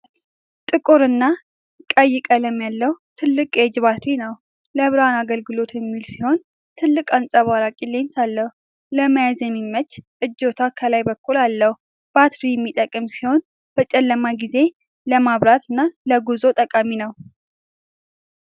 ጥቁር እና ቀይ ቀለም ያለው ትልቅ የእጅ ባትሪ ነው። ለብርሃን አገልግሎት የሚውል ሲሆን፣ ትልቅ አንጸባራቂ ሌንስ አለው። ለመያዝ የሚያመች እጀታ ከላይ በኩል አለው። ባትሪ የሚጠቀም ሲሆን፣ በጨለማ ጊዜ ለማብራት እና ለጉዞ ጠቃሚ ነው።